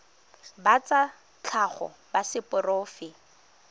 ba tsa tlhago ba seporofe